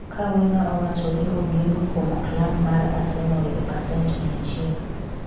ka wenger owacho ni ‘ogeno’ kuom klab mar Arsenal e pacent mia achiel.